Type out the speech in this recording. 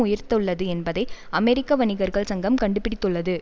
உயர்த்துள்ளது என்பதை அமெரிக்க வணிகர்கள் சங்கம் கண்டுபிடித்துள்ளது